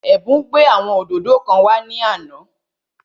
Ẹ̀bùn gbé àwọn òdòdó kan wá ní àná